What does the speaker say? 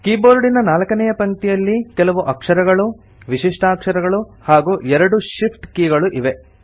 ಕೀಬೋರ್ಡಿನ ನಾಲ್ಕನೇಯ ಪಂಕ್ತಿಯಲ್ಲಿ ಕೆಲವು ಅಕ್ಷರಗಳು ವಿಶಿಷ್ಟಾಕ್ಷರಗಳು ಹಾಗೂ ಎರಡು Shift ಕೀಗಳು ಇವೆ